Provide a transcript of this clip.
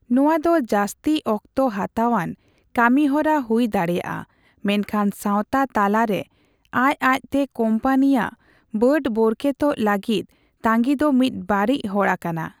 ᱱᱚᱣᱟ ᱫᱚ ᱡᱟᱹᱥᱛᱤ ᱚᱠᱛᱚ ᱦᱟᱛᱟᱣᱟᱱ ᱠᱟᱹᱢᱤ ᱦᱚᱨᱟ ᱦᱩᱭ ᱫᱟᱲᱮᱭᱟᱜᱼᱟ, ᱢᱮᱱᱠᱷᱟᱱ ᱥᱟᱣᱛᱟ ᱛᱟᱱᱟᱞᱟ ᱨᱮ ᱟᱡᱼᱟᱡ ᱛᱮ ᱠᱚᱢᱯᱟᱱᱤᱭᱟᱜ ᱵᱟᱹᱰ ᱵᱳᱨᱠᱮᱛᱚᱜ ᱞᱟᱹᱜᱤᱫ ᱛᱟᱺᱜᱤ ᱫᱚ ᱢᱤᱫ ᱵᱟᱹᱲᱤᱡ ᱦᱚᱨᱟ ᱠᱟᱱᱟ ᱾